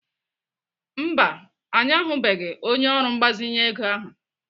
Mba, anyị ahụbeghị onye ọrụ mgbazinye ego ahụ.